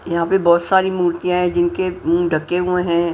यहां पे बहुत सारी मूर्तियां हैं जिनके मुंह ढके हुए हैं।